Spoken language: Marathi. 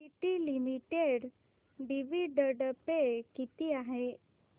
टीटी लिमिटेड डिविडंड पे किती आहे